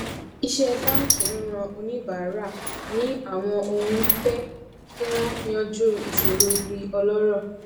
iṣé báńkì ń ran oníbàárà ní àwọn ohun ń fé kí wón yanjú ìṣòro di ọlórò